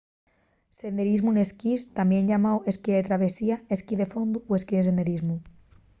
senderismu n'esquís tamién llamáu esquí de travesía esquí de fondu o esquí senderismu